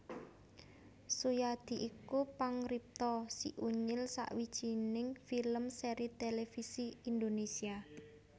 Suyadi iku pangripta Si Unyil sawijining film sèri tèlèvisi Indonésia